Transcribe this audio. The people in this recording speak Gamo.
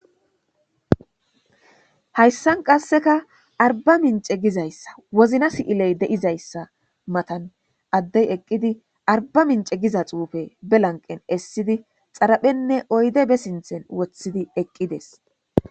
hayssan qasseka arba mince gizayssa wozna si7iley deizayssa matan addey eqqidi arba mince giza xuufe be lanqen essidi xaraphenne oyde be sinthen woththidi eqqides